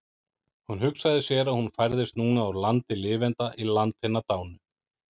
Hún hugsaði sér að hún færðist núna úr landi lifenda í land hinna dánu.